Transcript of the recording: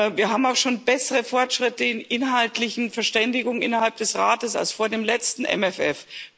Wir haben auch schon bessere Fortschritte in inhaltlichen Verständigungen innerhalb des Rates als vor dem letzten MFR.